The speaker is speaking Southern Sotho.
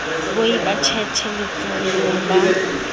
boi ba tjhetjhe letsholong ba